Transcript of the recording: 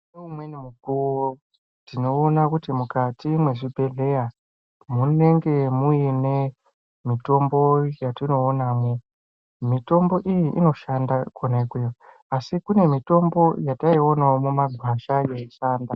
Ngeumweni mukuo tinoona kuti mukati mwezvibhedhleya munenge mune mitombo yatinoonamwk mitombo iyi inoshanda kona ikweyo asi kune imweni mitombo yataionao mumagwasha yeishanda.